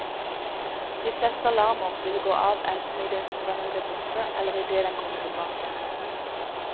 De fleste alarmer vil gå av enten i det strømmen blir borte, eller i det den kommer tilbake.